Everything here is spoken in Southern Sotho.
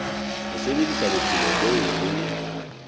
ho sebedisa bophelo boo re